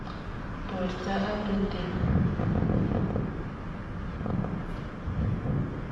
Portoo ak rutet kepaishee ketyemee amdit alak eng alak.